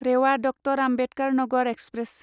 Rewa doctor Ambedkar Nagar express